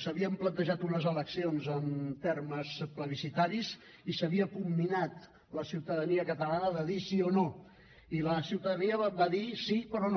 s’havien plantejat unes eleccions en termes plebiscitaris i s’havia comminat la ciutadania catalana a dir sí o no i la ciutadania va dir sí però no